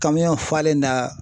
Kamiyɔn falen na